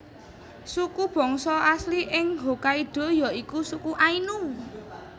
Suku bangsa asli ing Hokkaido ya iku suku Ainu